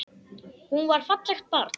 Hún var fallegt barn.